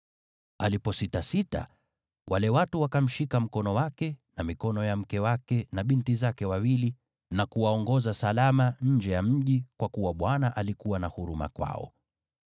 Alipositasita, wale watu wakamshika mkono wake na mikono ya mke wake na binti zake wawili na kuwaongoza salama nje ya mji, kwa kuwa Bwana alikuwa na huruma kwao.